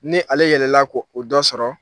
Ni ale yɛlɛla ko o dɔ sɔrɔ